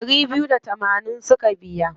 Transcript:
Ɗari biyu da tamanin suka biya.